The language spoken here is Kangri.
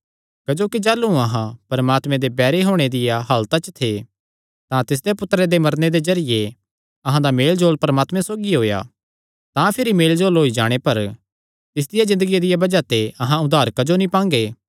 क्जोकि जाह़लू अहां परमात्मे दे बैरी होणे दिया हालता च थे तां तिसदे पुत्तरे दे मरने दे जरिये अहां दा मेलजोल परमात्मे सौगी होएया तां भिरी मेलजोल होई जाणे पर तिसदिया ज़िन्दगिया दिया बज़ाह ते अहां उद्धार क्जो नीं पांगे